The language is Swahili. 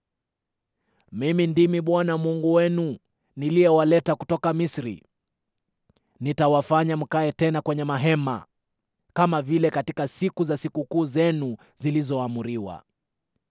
“Mimi ndimi Bwana Mungu wenu niliyewaleta kutoka Misri; nitawafanya mkae tena kwenye mahema, kama vile katika siku za sikukuu zenu zilizoamriwa.